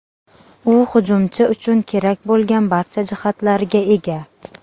U hujumchi uchun kerak bo‘lgan barcha jihatlarga ega.